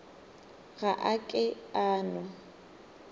ga a ke a no